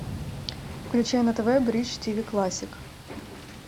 включай на тв бридж тв классик